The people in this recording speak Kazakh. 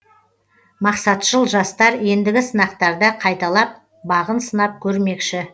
мақсатшыл жастар ендігі сынақтарда қайталап бағын сынап көрмекші